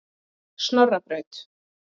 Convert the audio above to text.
Snorrabraut